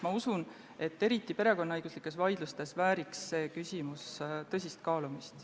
Ma usun, et eriti perekonnaõiguslikes vaidlustes vääriks see küsimus tõsist kaalumist.